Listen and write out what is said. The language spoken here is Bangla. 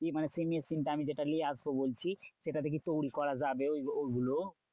কি মানে সেই machine টা আমি যেটা নিয়ে আসবো বলছি? সেটাতে কি তৈরী করা যাবে ওই ওইগুলো?